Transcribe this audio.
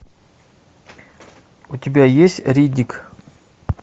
у тебя есть риддик